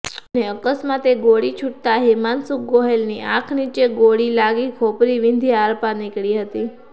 અને અકસ્માતે ગોળી છુટતા હિમાન્શુ ગોહેલની આંખ નીચે ગોળી લાગી ખોપરી વિંધી આરપાર નીકળી હતી